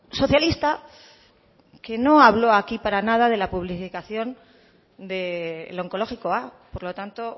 socialista que no habló aquí para nada de la publificación del onkologikoa por lo tanto